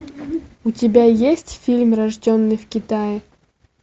у тебя есть фильм рожденный в китае